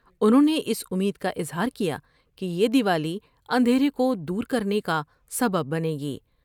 انہوں نے اس امید کا اظہار کیا کہ یہ د یوالی اندھیرے کو دور کرنے کا سبب بنے گی ۔